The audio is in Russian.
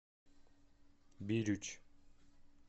бирюч